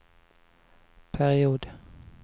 period